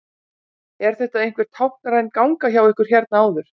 Er þetta einhver táknræn ganga hjá ykkur hérna áður?